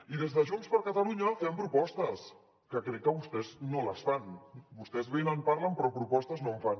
i des de junts per catalunya fem propostes que crec que vostès no les fan vostès venen parlen però propostes no en fan